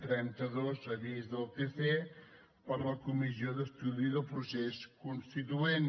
trenta dos avís del tc per la comissió d’estudi del procés constituent